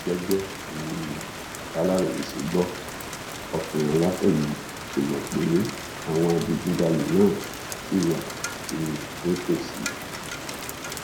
gẹgẹ um bàlàròyé ṣe gbọ ọkùnrin aláfẹ yìí kó mọ pé àwọn adigunjalè náà ṣì wà um nítòsí